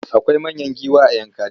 Akwai manyan giwa a Yankari.